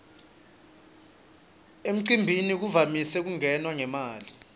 emcimbini kuvamise kungenwa ngemali